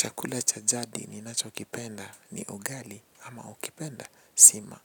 Chakula cha jadi ninacho kipenda ni ugali ama ukipenda sima.